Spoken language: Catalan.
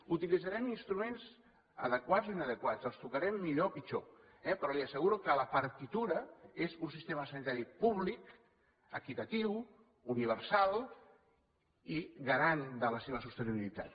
utilitzarem instruments adequats o inadequats els tocarem millor o pitjor eh però li asseguro que la partitura és un sistema sanitari públic equitatiu universal i garant de la seva sostenibilitat